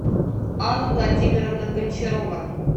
алла владимировна гончарова